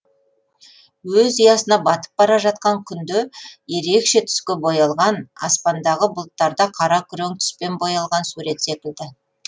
өз ұясына батып бара жатқан күнде ерекше түске боялған аспандағы бұлттарда қара күрең түспен боялған сурет секілді